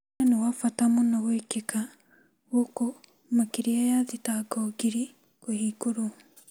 Kesi ni ya bata mũno gwĩkĩka gũkũ makĩria ya mashtaka ngiri kũbingũrwo